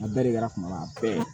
A bɛɛ de kɛra kuma la a bɛɛ